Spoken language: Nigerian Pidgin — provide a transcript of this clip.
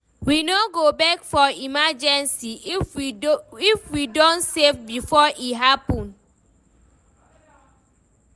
We no go beg for emergency if we don save before e happen.